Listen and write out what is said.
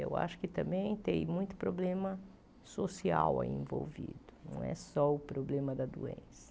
Eu acho que também tem muito problema social aí envolvido, não é só o problema da doença.